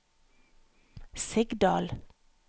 Sigdal